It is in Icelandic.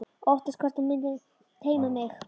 Óttast hvert hún muni teyma mig.